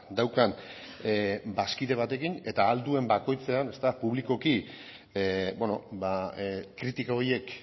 daukan bazkide batekin eta ahal duen bakoitzean publikoki kritika horiek